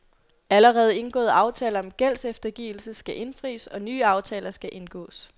Allerede indgåede aftaler om gældseftergivelse skal indfries, og nye aftaler skal indgåes.